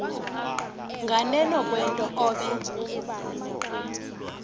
nganeno kwento obe